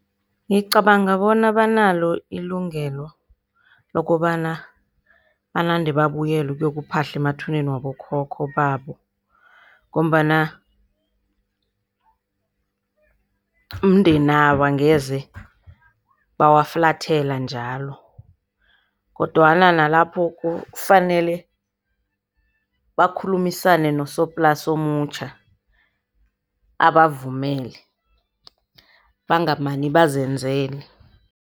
Ngicabanga bona banalo ilungelo lokobana banande babuyele uyokuphahla emathuneni wabokhokho babo. Ngombana mindeni yabo, angeze bawafulathela njalo. Kodwana nalapho kufanele bakhulumisane nosoplasi omutjha, abavumele. Bangamani bazenzele.